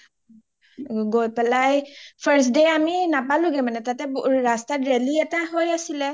গৈই পেলাই first day আমি নাপালোগে আৰু মানে ৰাস্তাত ৰেলি এটা হৈ আছিলে